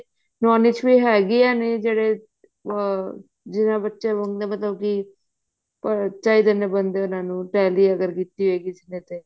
known ਚ ਵੀ ਹੇਗੀਆਂ ਨੇ ਜਿਹੜੇ ਉਹ ਜਿਵੇਂ ਬੱਚੇ ਹੁੰਦੇ ਮਤਲਬ ਕੀ ਚਾਹੀਦੇ ਨੇ ਬੰਦੇ ਅਗਰ ਉਹਨਾ ਨੂੰ tally ਅਗਰ ਕੀਤੀ ਹੈ ਕਿਸੀ ਨੇ ਤੇ